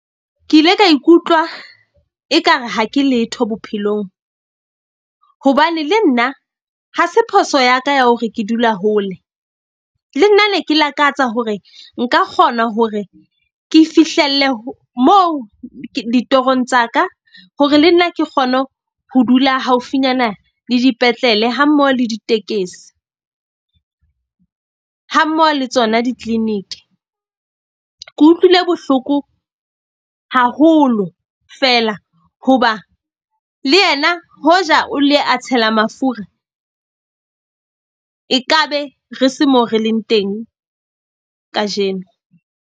Ke ile ka ikutlwa ekare ha ke letho bophelong. Hobane le nna ha se phoso ya ka ya hore ke dula hole le nna ne ke lakatsa hore nka kgona hore ke fihlelle ho mo ditorong tsa ka, hore le nna ke kgone ho dula haufinyana le dipetlele ha mmoho le ditekesi. Ha mmoho le tsona di-clinic. Ke utlwile bohloko haholo fela hoba le yena ho ja o ile a tshela mafura e ka be re se moo re leng teng kajeno.